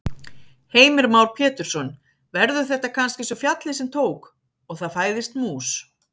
Heimir Már Pétursson: Verður þetta kannski eins og fjallið sem tók. og það fæðist mús?